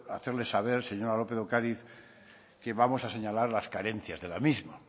hacerles saber señora lópez de ocariz que vamos a señalar las carencias de la misma